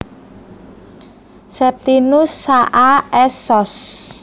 Septinus Saa S Sos